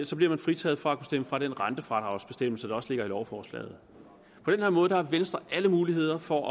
så bliver man fritaget fra at stemme for den rentefradragsbestemmelse der også ligger i lovforslaget på den her måde har venstre alle muligheder for at